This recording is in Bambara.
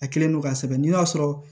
A kɛlen don k'a sɛbɛn n'i y'a sɔrɔ